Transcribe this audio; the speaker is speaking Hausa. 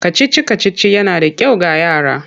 Kacici-kacici yana da kyau ga yara.